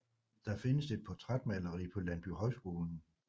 Der findes et portrætmaleri på Landbohøjskolen